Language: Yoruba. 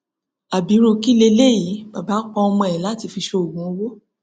ábírú kí leléyìí bàbá pa ọmọ ẹ láti fi ṣoògùn owó